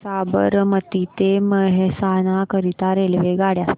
साबरमती ते मेहसाणा करीता रेल्वेगाड्या